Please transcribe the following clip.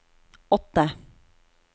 åtte